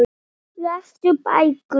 Lestu bækur.